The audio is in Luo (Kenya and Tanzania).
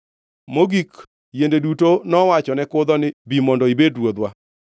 “Mogik yiende duto nowachone kudho ni, ‘Bi mondo ibed ruodhwa.’